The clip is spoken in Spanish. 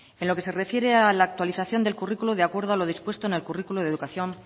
en lo que se refiere a la actualización del currículum de acuerdo a lo dispuesto en el currículum de educación